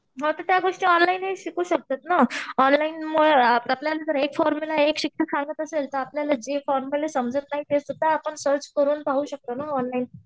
म त्या गोष्टी ऑनलाईन ही शिकू शकतात ना? ऑनलाईन मुळे आपल्याला जर एक फॉर्म्युला आपल्याला जे फॉर्म्युले समजत नाहीत ते सुद्धा सर्च करून पाहू शकतो ना ऑनलाईन